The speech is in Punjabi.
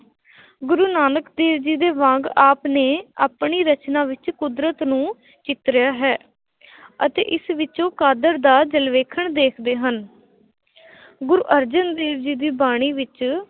ਗੁਰੂ ਨਾਨਕ ਦੇਵ ਜੀ ਦੇ ਵਾਂਗ ਆਪ ਨੇ ਆਪਣੀ ਰਚਨਾ ਵਿੱਚ ਕੁਦਰਤ ਨੂੰ ਚਿਤਰਿਆ ਹੈ ਅਤੇ ਇਸ ਵਿੱਚੋਂ ਕਾਦਰ ਦਾ ਜਲਵੇਖਣ ਦੇਖਦੇ ਹਨ ਗੁਰੂ ਅਰਜਨ ਦੇਵ ਜੀ ਦੀ ਬਾਣੀ ਵਿੱਚ